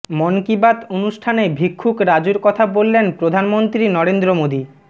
মন কি বাত অনুষ্ঠানে ভিক্ষুক রাজুর কথা বললেন প্রধানমন্ত্রী নরেন্দ্র মোদী